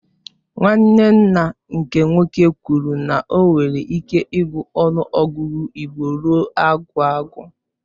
Nwanne nna nke nwoke kwụrụ na o nwere ịke ịgụ ọnụ ọgụgụ igbo ruo agwụ agwụ.